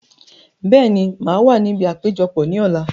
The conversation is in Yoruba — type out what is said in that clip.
Bẹ́ẹ̀ni, màá wà níbi àpéjọpọ̀ ní ọ̀la